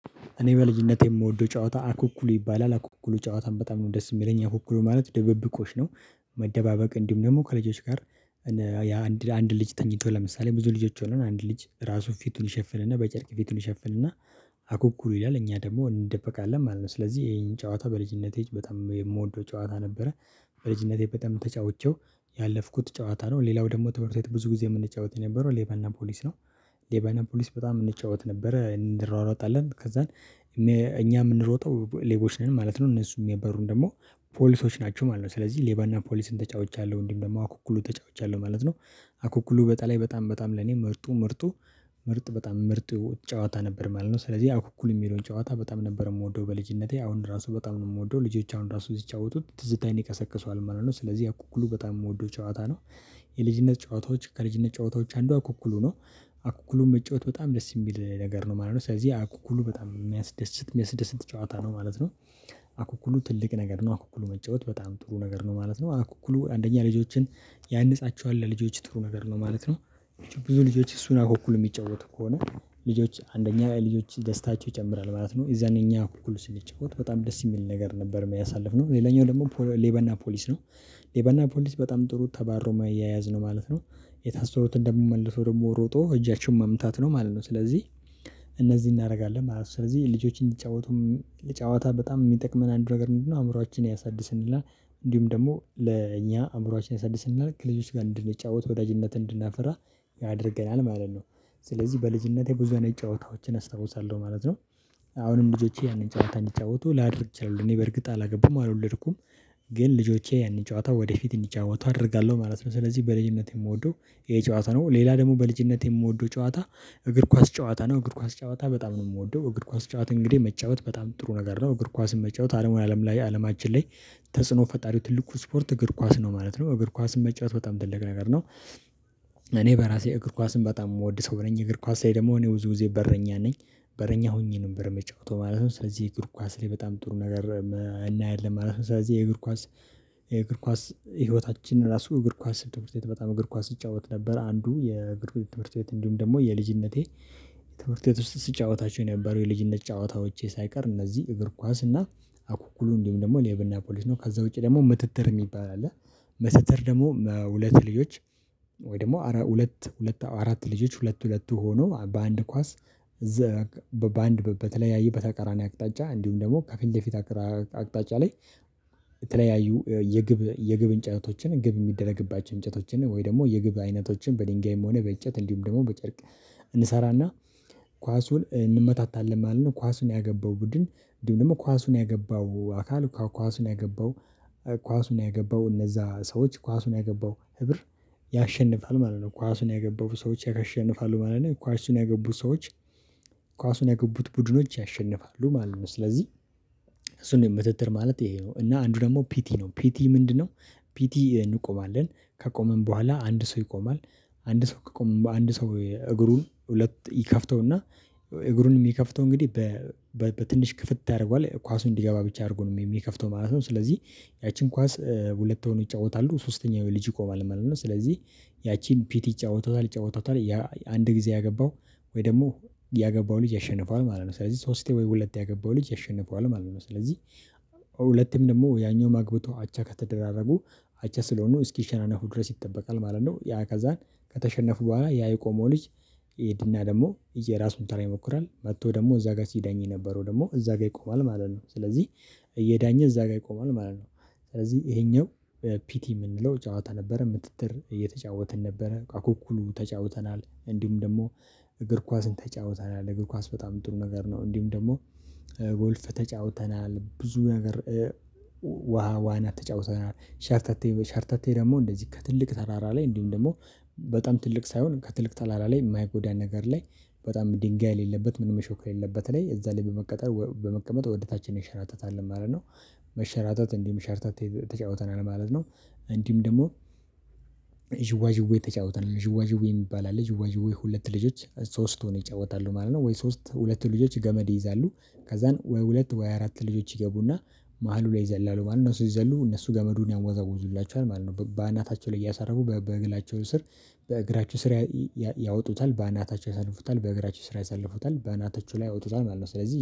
እኔ በልጅነቴ የምወደው ጨዋታ አኩኩሉ ይባላል አኩኩሉ ጨዋታም በጣም ነው ደስ የሚለኝ አኩኩሉ ማለት ደበብቆሽ ነው። መደባበቅ እንዲሁም ደግሞ ከልጆች ጋር አንድ አንድ ልጅ ተኝቶ ለምሳሌ ብዙ ልጆች ሆነው አንድ ልጅ ራሱን ፊቱን ይሸፍንና በጨርቅ ፊቱን ይሸፍንና አኩኩል ይላል እኛ ደግሞ እንደበቃለን ማለት ነው። ስለዚህ ይሄን ጨዋታ በልጅነቴ በጣም የምወደው ጨዋታ ነበረ። በልጅነቴ በጣም ተጫውቼው ያለፍኩት ጨዋታ ነው። ሌላው ደግሞ ትምህርት ቤት ብዙ ጊዜ የምንጫወት የነበረው ሌባና ፖሊስ ነው። ሌባና ፖሊስ በጣም የምንጫወት ነበረ እንሯሯጣለን ከዛን እኛ የምንሮጠው ሌቦች ነን ማለት ነው እነሱ የሚበሩን ደግሞ ፖሊሶች ናቸው ማለት ነው። ስለዚህ ሌባና ፖሊስን ተጫውቻለሁ እንዲም ደግሞ አኩኩሉ ተጫውቻለሁ ማለት ነው። አኩኩሉ በጣም በጣም ለኔ መርጡ ምርጡ ምርጥ በጣም ምርጡ ጨዋታ ነበር ማለት ነው። ስለዚህ እኩል የሚለውን ጨዋታ በጣም ነበር የምወደው በልጅነቴ አሁን ራሱ በጣም ነው የምወደው ልጆች አሁን ራሱ እዚህ ይጫወቱት ትዝታን ይቀሰቅሰዋል ማለት ነው ስለዚህ አኩኩሉ በጣም የምወደው ጨዋታ ነው። የልጅነት ጨዋታዎች ከልጅነት ጨዋታዎች አንዷ አኩኩሉ ነው። አኩኩሉን መጫወት በጣም ደስ የሚል ነገር ነው ማለት ነው ስለዚህ አኩኩሉ በጣም የሚያስደስት አስደስት ጨዋታ ነው ማለት ነው። አኩኩሉ ትልቅ ነገር ነው አኩኩሉ መጫወት በጣም ጥሩ ነገር ነው ማለት ነው አኩኩሉ አንደኛ ልጆችን ያነጻቸዋል ለልጆች ጥሩ ነገር ነው ማለት ነው። ብዙ ልጆች እሱን አኩኩል የሚጫወት ከሆነ ልጆች አንደኛ ልጆች ደስታቸው ይጨምራል ማለት ነው። የዛን የኛ ኩኩል ስንጫወት በጣም ደስ የሚል ነገር ነበር ያሳለፍነው ሌላኛው ደግሞ ሌበና ፖሊስ ነው። ሌበና ፖሊስ በጣም ጥሩ ተባሮ የማያያዝ ነው ማለት ነው። የታሰሩት እንደሚመልሱ ደግሞ ሮጦ እጃቸውን መምታት ነው ማለት ነው ስለዚህ እነዚህ እናደርጋለን ማለት ነው። ስለዚህ ልጆችን የሚጫወቱም ልጫወታ በጣም የሚጠቅመን አንዱ ነገር ምንድነው? አእምሮአችን ያሳድስልናል እንዲሁም ደግሞ ለእኛ አእምሮአችን ያሳድስልናል ከልጆች ጋር እንድንጫወት ወዳጅነት እንድናፍራ ያደርገናል ማለት ነው። ስለዚህ በልጅነቴ ብዙ አይነት ጨዋታዎችን አስታውሳለሁ ማለት ነው። አሁንም ልጆቼ ያንን ጨዋታ እንዲጫወቱ ላድርግ እችላለሁ እኔ በእርግጥ አላገቡም አልወለድኩም። ግን ልጆቼ ያንን ጨዋታ ወደፊት እንጃወቱ አደርጋለሁ ማለት ነው። ስለዚህ በልጅነት የምወደው ይሄ ጨዋታ ነው። ሌላ ደግሞ በልጅነት የምወደው ጨዋታ እግር ኳስ ጨዋታ ነው። እግር ኳስ ጨዋታ በጣም ነው የምወደው እግር ኳስ ጨዋታ እንግዲህ መጫወት ጥሩ ነገር ነው። እግር ኳስን መጫወት አለሙን አለም ላይ አለማችን ላይ ተጽዕኖ ፈጣሪው ትልቁ ስፖርት እግር ኳስ ነው ማለት ነው። እግር ኳስን መጫወት በጣም ትልቅ ነገር ነው። እኔ በራሴ እግር ኳስን በጣም የምወድ ሰው ብለኝ እግር ኳስ ላይ ደግሞ እኔ ብዙ ጊዜ በረኛ ነኝ። በረኛ ሆኜ ነበር የምጫውተው ማለት ነው። ስለዚህ እግር ኳስ ላይ በጣም ጥሩ ነገር እናየዋለን ማለት ነው። ስለዚህ የእግር ኳስ የእግር ኳስ ህይወታችን ራሱ እግር ኳስ ትምህርት ቤት በጣም እግር ኳስ ይጫወት ነበር። አንዱ የእግር ትምህርት ቤት እንዲሁም ደግሞ የልጅነቴ የትምህርት ቤት ውስጥ ሲጫወታቸው የነበሩ የልጅነት ጫወታዎች ሳይቀር እነዚህ እግር ኳስ እና አኩኩሉ እንዲሁም ደግሞ ሌባና ፖሊስ ነው። ከዛ ውጪ ደግሞ ምተትር የሚባል አለ። መተትር ደግሞ ሁለት ልጆች ወይ ደግሞ አራት ሁለት አራት ልጆች ሁለት ሁለት ሆኖ በአንድ ኳስ በአንድ በተለያየ በተቃራኒ አቅጣጫ እንዲሁም ደግሞ ከፊት ለፊት አቅጣጫ ላይ የተለያዩ የግብ የግብ እንጨቶችን ግብ የሚደረግባቸው እንጨቶችን ወይ ደግሞ የግብ አይነቶችን በድንጋይም ሆነ በእጨት እንዲሁም ደግሞ በጨርቅ። ኳሱን እንመታታለን ማለት ነው ኳሱን ያገባው ቡድን እንዲሁም ኳሱን ያገባው አካል ከኳሱን ያገባው ኳሱን ያገባው እነዛ ሰዎች ኳሱን ያገባው ህብር ያሸንፋል ማለት ነው። ኳሱን ያገቡ ሰዎች ያሸንፋሉ ማለት ነው። ኳሱን ያገቡ ሰዎች ኳሱን የገቡት ቡድኖች ያሸንፋሉ ማለት ነው። ስለዚህ እሱን መተትር ማለት ይሄ ነው። እና አንዱ ደግሞ ፒቲ ነው። ፒቲ ምንድነው? ፒቲ እንቆማለን ከቆመን በኋላ አንድ ሰው ይቆማል። አንድ ሰው ከቆመ በአንድ ሰው እግሩን ሁለት ይከፍተውና እግሩንም የሚከፍተው እንግዲህ በትንሽ ክፍት ያደርገዋል ኳሱን እንዲገባ ብቻ አድርጎ ነው የሚከፍተው ማለት ነው። ስለዚህ ያቺን ኳስ ሁለት ሆኖ ይጫወታሉ ሶስተኛው ልጅ ይቆማል ማለት ነው። ስለዚህ ያቺን ፒቲ ጨዋታውታል ጨዋታውታል አንድ ጊዜ ያገባው ወይ ደግሞ ያገባው ልጅ ያሸንፋል ማለት ነው። ስለዚህ ሶስቴ ወይ ሁለቴ ያገባው ልጅ ያሸንፈዋል ማለት ነው። ስለዚህ ሁለቴም ደግሞ ያኛውም ማግብቶ አቻ ከተደራረጉ አቻ ስለሆኑ እስኪሸናናሁ ድረስ ይጠበቃል ማለት ነው። ያ ከዛን ከተሸነፉ በኋላ ያ የቆመው ልጅ ይሄድና ደግሞ እየራሱን ተራ ይሞክራል መጥቶ ደግሞ እዛ ጋር ሲዳኝ የነበረው ደግሞ እዛ ጋር ይቆማል ማለት ነው። ስለዚህ የዳኘ እዛ ጋር ይቆማል ማለት ነው። ስለዚህ ይሄኛው ፒቲ የምንለው ጨዋታ ነበረ። ምተትር እየተጫወትን ነበረ አኩኩሉ ተጫውተናል እንዲሁም ደግሞ እግር ኳስን ተጫውተናል እግር ኳስ በጣም ጥሩ ነገር ነው። እንዲሁም ደግሞ ጎልፍ ተጫውተናል ብዙ ነገር። ውሃ ውሃ ነው ተጫውተናል ሸርተቴ ሻርተቴ ደግሞ እንደዚህ ከትልቅ ተራራ ላይ እንዲሁም ደግሞ በጣም ትልቅ ሳይሆን ከትልቅ ተራራ ላይ የማይጎዳ ነገር ላይ በጣም ድንጋይ የሌለበት ምን መሾከር የሌለበት ላይ እዛ ላይ በመቀጠል በመቀመጥ ወደ ታች ይሸራተታል ማለት ነው። መሸራተት እንዲህም ሸርተት ተጫውተናል ማለት ነው። እንዲህም ደግሞ ዥዋዥዌ ተጫውተናል ዥዋዥዌ የሚባል አለ ዥዋዥዌ ሁለት ልጆች ሶስቱን ይጫወታሉ ማለት ነው። ወይ ሶስት ሁለት ልጆች ገመድ ይይዛሉ ከዛን ወይ ሁለት ወይ አራት ልጆች ይገቡና መሃሉ ላይ ይዘላሉ ማነው? ስትዘሉ እነሱ ገመዱን ያምወዛውዙላቸዋል ማለት ነው። በአናታቸው ላይ እያሳረቡ በእግላቸው ስር በእግራችሁ ስር ያወጡታል በአናታቸው ያሳልፉታል በእግራቸው ስራ ያሳልፉታል በእናታቸው ላይ ወጡታል ማለት ነው። ስለዚህ